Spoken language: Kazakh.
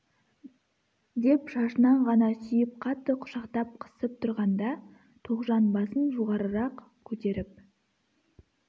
деп шашынан ғана сүйіп қатты құшақтап қысып тұрғанда тоғжан басын жоғарырақ көтеріп